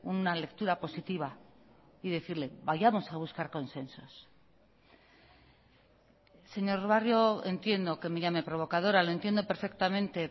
una lectura positiva y decirle vayamos a buscar consensos señor barrio entiendo que me llame provocadora lo entiendo perfectamente